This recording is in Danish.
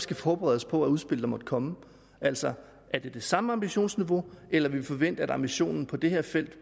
kan forberede os på det udspil der måtte komme altså er det det samme ambitionsniveau eller må vi forvente at ambitionen på det her felt